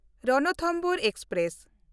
Ranthambore express